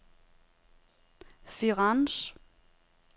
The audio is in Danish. Firenze